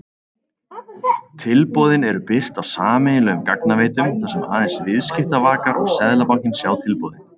Tilboðin eru birt á sameiginlegum gagnaveitum þar sem aðeins viðskiptavakar og Seðlabankinn sjá tilboðin.